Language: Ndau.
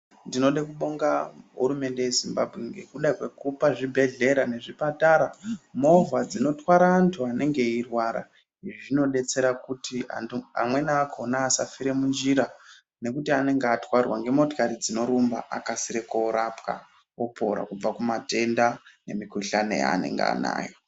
Ndinode kubonga hurumende yeZimbabwe ngekuda kwekupa zvibhedhlera ngezvipatara movha dzino twara antu anenge eirwara izvi zvinodetsera kuti antu amweni akhona asafira munjira nekuti anenge atwarwa ngemotikari dzinorumba akasire koorapwa kubva kumatenda nemikuhlani yaanenge anayo.